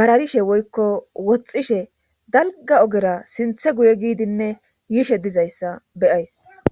bararishe woykko woxxishe dalga ogera sinthe guye giidinne yishe dizayssa beyays.